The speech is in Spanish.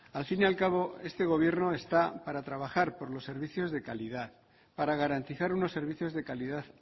al fin y al cabo este gobierno está para trabajar por los servicios de calidad para garantizar unos servicios de calidad